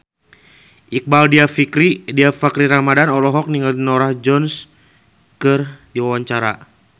Iqbaal Dhiafakhri Ramadhan olohok ningali Norah Jones keur diwawancara